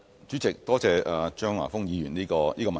主席，多謝張華峰議員的補充質詢。